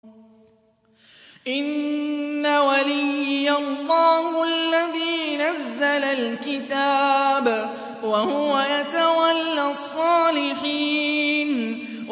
إِنَّ وَلِيِّيَ اللَّهُ الَّذِي نَزَّلَ الْكِتَابَ ۖ وَهُوَ يَتَوَلَّى الصَّالِحِينَ